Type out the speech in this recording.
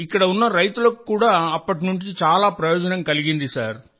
ఇక్కడ ఉన్న రైతులకు కూడా అప్పటి నుండి చాలా ప్రయోజనం కలిగింది సార్